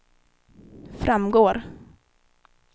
framgår